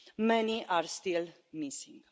Many are still missing.